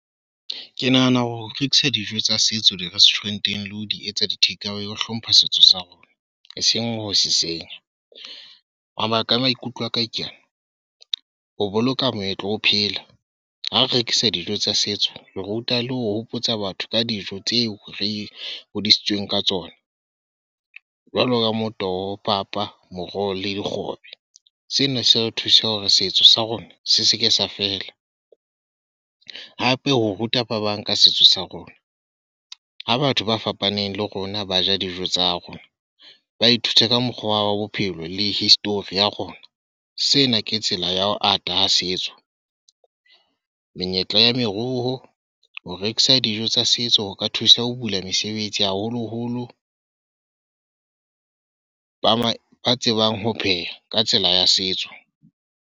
Ke nahana ho rekisa dijo tsa setso di-restaurant-eng le ho di etsa di takeaway ho hlompha setso sa rona. Eseng ho se senya. Mabaka a maikutlo a ka keana, ho boloka moetlo o phela. Ha o rekisa dijo tsa setso, o ruta le ho hopotsa batho ka dijo tseo re hodisitsweng ka tsona. Jwalo ka Motoho, papa, moroho, le dikgobe. Sena se re thusa hore setso sa rona se seke sa fela. Hape ho ruta ba bang ka setso sa rona. Ha batho ba fapaneng le rona ba ja dijo tsa rona, ba ithuta ka mokgwa wa bophelo le history ya rona. Sena ke tsela ya ho ata ha setso. Menyetla ya meruo. Ho rekisa dijo tsa setso ho ka thusa ho bula mesebetsi haholo-holo ba ba tsebang ho pheha, ka tsela ya setso.